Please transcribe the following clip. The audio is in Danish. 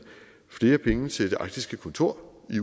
flere penge til det arktiske kontor i